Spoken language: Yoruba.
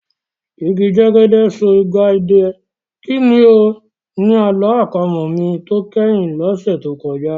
Igi jẹ́gẹ́dẹ́ so igba idẹ, kí ni o? Ni àlọ́ àpamọ̀ mi tó kẹ́yìn lọ́sẹ̀ tó kọjá.